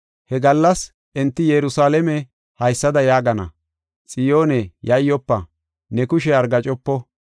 He gallas enti Yerusalaame haysada yaagana: “Xiyoone, yayyofa! Ne kushey argaacopo.